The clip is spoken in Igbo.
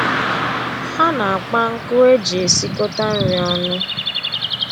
Ha na-akpa nkụ e ji esikọta nri ọnụ